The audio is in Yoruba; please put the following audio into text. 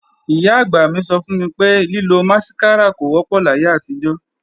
Ìyá-àgbà mí sọ fún mi pé, lílo másíkárà kò wọ́pọ̀ láyé àtijọ́